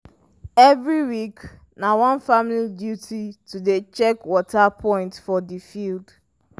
every week na one family duty to dey check water point for the field.